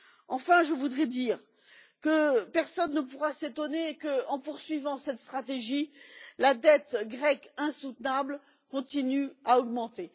Enfin, je voudrais dire que personne ne pourra s'étonner qu'en poursuivant cette stratégie, la dette grecque insoutenable continue à augmenter.